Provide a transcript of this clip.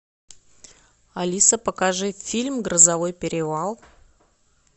алиса покажи фильм грозовой перевал